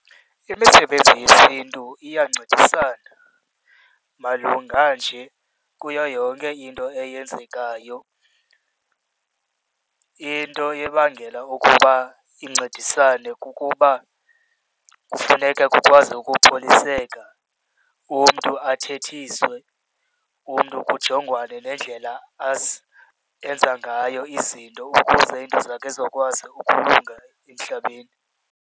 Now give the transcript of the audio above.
Imisebenzi yesiNtu iyancedisana malunga nje kuyo yonke into eyenzekayo. Into ebangela ukuba incedisane kukuba kufuneke kukwazi ukukholiseka umntu, athethiswe, umntu kujongwane nendlela enza ngayo izinto ukuze into zakhe zowukwazi ukulunga emhlabeni.